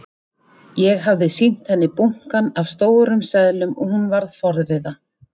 Ég hafði sýnt henni bunkann af stórum seðlum og hún varð forviða.